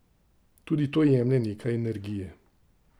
Tudi to jemlje nekaj energije.